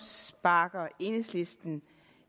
sparker enhedslisten